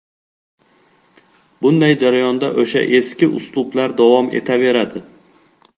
Bunday jarayonda o‘sha ‘eski’ uslublar davom etaveradi.